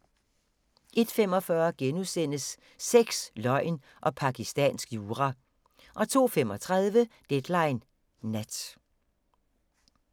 01:45: Sex, løgn og pakistansk jura * 02:35: Deadline Nat